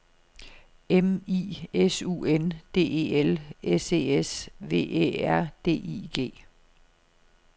M I S U N D E L S E S V Æ R D I G